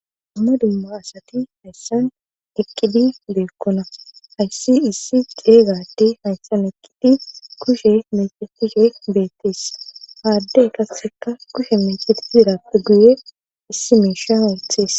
dumma dumma asati hayssan eqqidi de7okkona hayssi issi ceega addey hayssan eqqidi kushe meecettishe beettees ha addey qasseka kushe meecetide herappe guye issi miisha wottees.